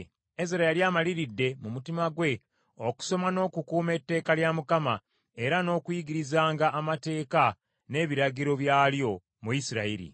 Ezera yali amaliridde mu mutima gwe okusoma n’okukuuma Etteeka lya Mukama , era n’okuyigirizanga amateeka n’ebiragiro byalyo mu Isirayiri.